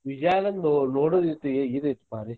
ವಿಜಯಾನಂದ ನೋಡುದ್ ಐತಿ ಇದ ಐತಿ ಭಾರಿ .